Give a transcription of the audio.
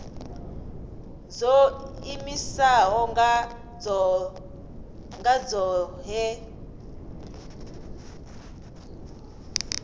dzo iimisaho nga dzohe vhu